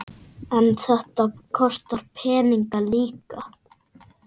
En þetta kostar peninga líka?